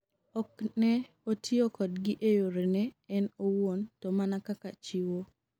ok ne otiyo kodgi e yore ne en owuon to mana kaka chiwo